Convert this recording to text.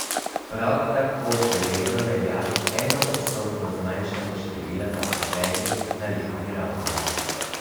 Prav tako še vedno velja enoodstotno zmanjšanje števila zaposlenih na letni ravni.